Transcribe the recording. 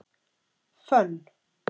Fönn